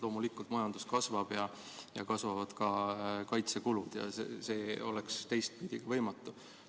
Loomulikult, majandus kasvab ja kasvavad ka kaitsekulud, teistpidi oleks see võimatu.